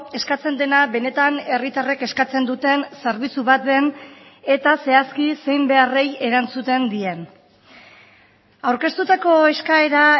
eskatzen dena benetan herritarrek eskatzen duten zerbitzu bat den eta zehazki zein beharrei erantzuten dien aurkeztutako eskaera